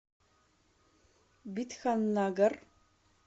бидханнагар